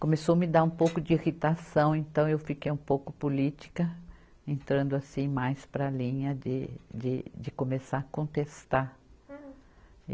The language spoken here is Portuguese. Começou me dar um pouco de irritação, então eu fiquei um pouco política, entrando assim mais para a linha de, de, de começar a contestar.